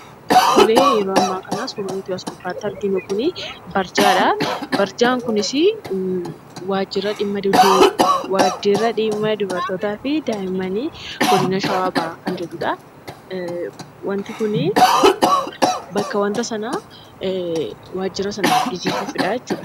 Tole, yeroo ammaa kana suurri nuti as gubbaatti arginu kunii barjaadha. Barjaan kunisii, waajira dhimma dubartootaafi daa'immani godina Shawaa bahaa kan jedhudha. Wanti kuni, bakka wanta sanaa waajira sana agarsiisuufidha